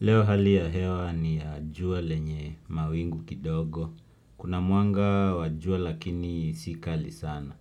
Leo hali ya hewa ni ya jua lenye mawingu kidogo. Kuna mwanga wa jua lakini si kali sana.